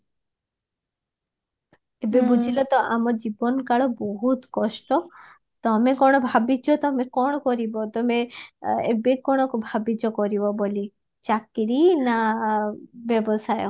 ଏବେ ବୁଝିଲା ତ ଆମ ଜୀବନ କାଳ ବହୁତ କଷ୍ଟ ତମେ କଣ ଭାବିଚ ତମେ କଣ କରିବ ତମେ ଏବେ କଣ ଭବିଚ କରିବ ବୋଲି ଚକିରୀ ନା ବ୍ୟବସାୟ